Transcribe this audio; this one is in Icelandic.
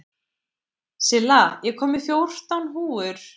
Silla, ég kom með fjórtán húfur!